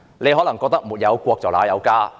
你可能認為"沒有國，哪有家"。